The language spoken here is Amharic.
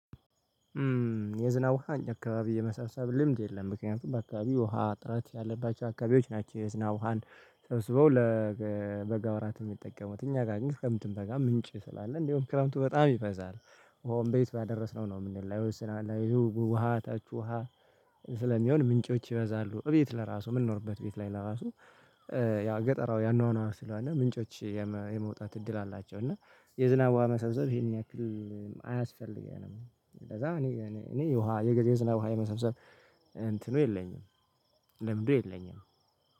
የዝናብ ውሃ እኛ አካባቢ የመሳሰሉ ልምድ የለም ምክንያቱም በአካባቢው ውሃ እጥረት ያለባቸው አካባቢዎች ናቸው የዝናብ ውሃን ሰብስበው ለበጋ ወራት የሚጠቀሙት እኛ ጋር ግን ክረምትም በጋም ምንጭ ስላለ እንደውም ክረምቱ በጣም ይበዛል እንደውም በየት ባደረስነው ነው የምንለው አይወስናል አይው ውሃ ታች ውሃ ስለሚሆን ምንጮች ይበዛሉ እቤት ለራሱ የምንኖርበት ቤት ላይ ለራሱ ያው ገጠራዊ አኗኗር ስለሆነ ምንጮች የመውጣት እድል አላቸው እና የዝናብ ዉሃ መሰብሰብ ይሄን ያክል አያስፈልገንም ስለዛ እኔ የዝናብ ውሃ የመሰብሰብ ለምዱ የለኝም።